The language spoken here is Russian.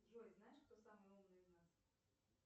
джой знаешь кто самый умный из нас